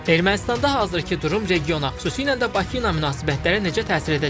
Ermənistanda hazırkı durum regiona xüsusilə də Bakı ilə münasibətlərə necə təsir edəcəkdir?